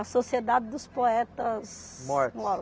A Sociedade dos Poetas Mortos